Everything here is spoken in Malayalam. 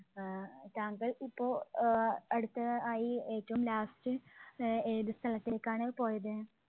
ആഹ് താങ്കൾ ഇപ്പോൾ അഹ് അടുത്തതായി ഏറ്റവും last ആഹ് ഏത് സ്ഥലത്തേക്കാണ് പോയത്?